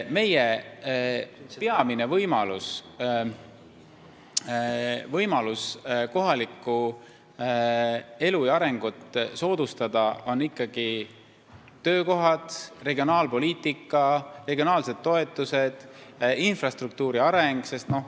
Meie peamine võimalus kohalikku elu ja arengut soodustada on ikkagi töökohad, regionaalpoliitika, regionaalsed toetused, infrastruktuuri areng.